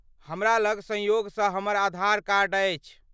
हमरा लग सँयोगसँ हमर आधार कार्ड अछि।